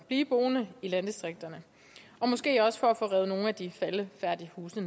blive boende i landdistrikterne og måske også for at få revet nogle af de faldefærdige huse